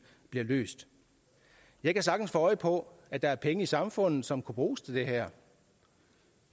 bliver løst jeg kan sagtens få øje på at der er penge i samfundet som kunne bruges til det her